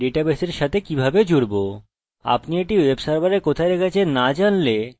প্রথমত আমি আপনাকে বলবো যে ডাটাবেসের সাথে কিভাবে জুড়ব